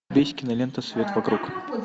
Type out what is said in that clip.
есть кинолента свет вокруг